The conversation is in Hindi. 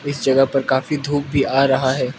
इस जगह पर काफी धूप भी आ रहा है।